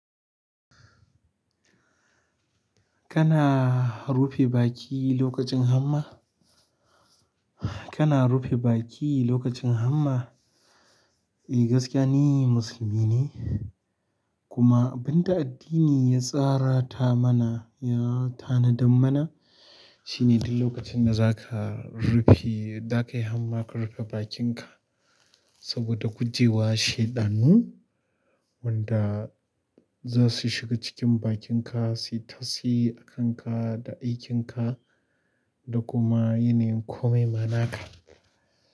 Kana rufe baki lokacin hamma? Kana rufe baki lokacin hamma? Eh gaskiya ni, musulmi ne. Kuma abin da addini ya tsara ta mana, ya tanadad mana shine duk lokacin da za ka rufe, da kai hamma ka rufe bakinka saboda kujewa shaiɗanu wanda za su shiga cikin bakinka, su yi tasi a kanka da aikin ka da kuma yanayin komai ma naka.